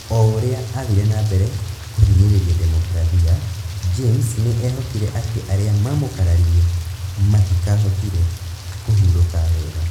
O ũrĩa aathire na mbere kũhinyĩrĩria demokrathia , James nĩ eehokire atĩ arĩa maamũkararirie matikaahotire kũhurũka wega